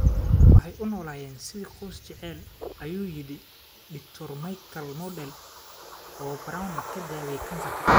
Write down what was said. Waxay u noolaayeen sidii qoys jacayl, ayuu yidhi Dr. Michael Modell, oo Browne ka daweeyay kansarka.